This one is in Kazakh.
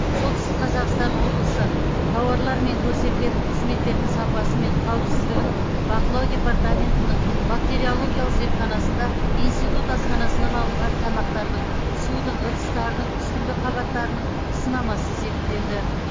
солтүстік қазақстан облысы тауарлар мен көрсетілетін қызметтердің сапасы мен қауіпсіздігін бақылау департаментінің бактериологиялық зертханасында институт асханасынан алынған тамақтардың судың ыдыстардың үстіңгі қабаттарының сынамасы зерттелді